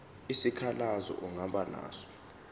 isikhalazo ongaba naso